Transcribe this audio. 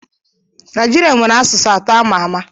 Naijiria nwere asụsụ atọ a ma àmà.